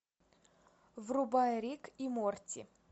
врубай рик и морти